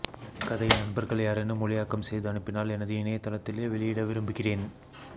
இக்கதையை நண்பர்கள் யாரேனும் மொழியாக்கம் செய்து அனுப்பினால் எனது இணையதளத்திலே வெளியிட விரும்புகிறேன்